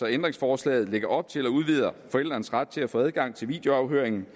ændringsforslaget lægger op til og udvider forældrenes ret til at få adgang til videoafhøringen